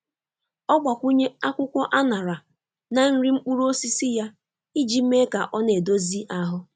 Ọ gbakwụnye akwụkwọ anara na nri mkpụrụ osisi ya iji mee ka ọ na-edozi ahụ.